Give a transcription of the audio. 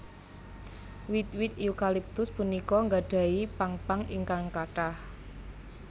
Wit wit eukaliptus punika nggadhahi pang pang ingkang kathah